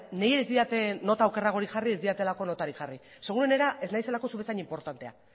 nire ez didate nota okerragorik jarri ez didatelako notarik jarri seguruenena ez naizelako zu bezain inportantea